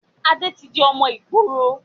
Adé tí di ọmọ ìgboro